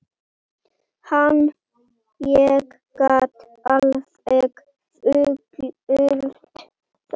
Ég get alveg fullyrt það.